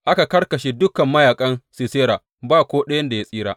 Aka karkashe dukan mayaƙan Sisera ba ko ɗayan da ya tsira.